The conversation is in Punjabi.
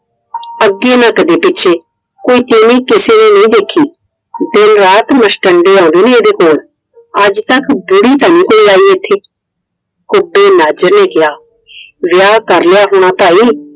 ਅੱਗੇ ਨਾ ਕਦੇ ਪਿੱਛੇ ਕੋਈ ਤੀਵੀਂ ਕਿਸੇ ਨੇ ਨਹੀਂ ਦੇਖੀ। ਦਿਨ ਰਾਤ ਮੁਸ਼ਟੰਡੇ ਆਉਂਦੇ ਨੇ ਇਹਦੇ ਕੋਲ। ਅੱਜਤੱਕ ਬੁੜੀ ਤਾਂ ਨਹੀਂ ਆਈ ਕੋਈ ਇੱਥੇ। ਅੱਗੇ ਨਾਜਰ ਨੇ ਕਿਹਾ ਵਿਆਹ ਕਰ ਲਿਆ ਹੋਣਾ ਭਾਈ।